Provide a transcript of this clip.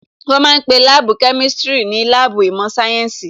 Wọ́n ma ń pe Láàbù Kemistiri ní láàbù ìmọ̀ sáyẹ́ǹsì